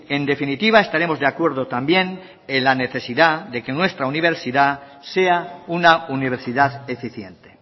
en definitiva estaremos de acuerdo también en la necesidad de que nuestra universidad sea una universidad eficiente